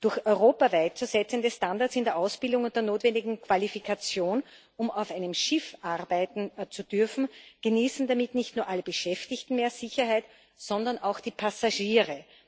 Durch europaweit zu setzende Standards in der Ausbildung und der notwendigen Qualifikation, um auf einem Schiff arbeiten zu dürfen, genießen damit nicht nur alle Beschäftigten mehr Sicherheit, sondern auch die Passagiere.